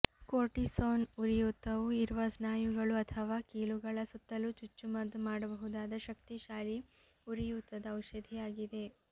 cortisone ಉರಿಯೂತವು ಇರುವ ಸ್ನಾಯುಗಳು ಅಥವಾ ಕೀಲುಗಳ ಸುತ್ತಲೂ ಚುಚ್ಚುಮದ್ದು ಮಾಡಬಹುದಾದ ಶಕ್ತಿಶಾಲಿ ಉರಿಯೂತದ ಔಷಧಿಯಾಗಿದೆ